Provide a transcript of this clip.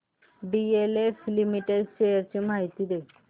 DLF limited shares ची माहिती दे